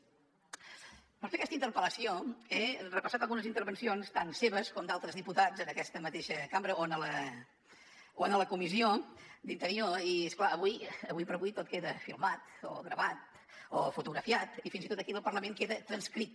per fer aquesta interpel·lació he repassat algunes intervencions tant seves com d’altres diputats en aquesta mateixa cambra o a la comissió d’interior i és clar ara com ara tot queda filmat o gravat o fotografiat i fins i tot aquí al parlament queda transcrit